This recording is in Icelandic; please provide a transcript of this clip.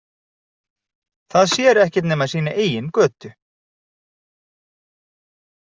Það sér ekkert nema sína eigin götu.